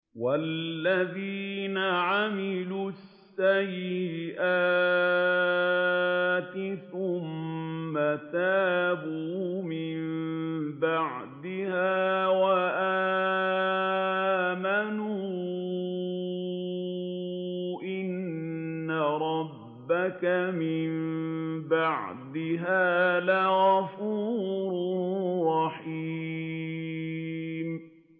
وَالَّذِينَ عَمِلُوا السَّيِّئَاتِ ثُمَّ تَابُوا مِن بَعْدِهَا وَآمَنُوا إِنَّ رَبَّكَ مِن بَعْدِهَا لَغَفُورٌ رَّحِيمٌ